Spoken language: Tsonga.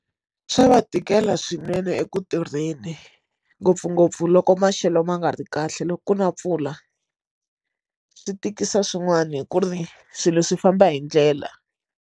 Swa va tikela swinene eku tirheni ngopfungopfu loko maxelo ma nga ri kahle loko ku na mpfula swi tikisa swin'wani ku ri swilo swi famba hindlela.